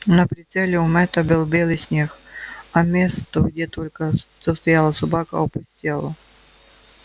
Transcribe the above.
на прицеле у мэтта был белый снег а место где только что стояла собака опустело